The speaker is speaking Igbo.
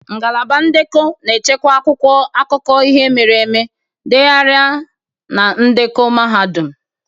Ngalaba ndekọ na-echekwa akwụkwọ akụkọ ihe mere eme, ndegharị na ndekọ mahadum.